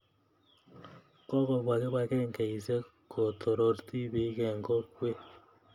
Kokopwa kipakengeisyek ko toror tipiik eng' kokwet